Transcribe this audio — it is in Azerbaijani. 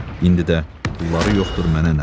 İndi də pulları yoxdur, mənə nə?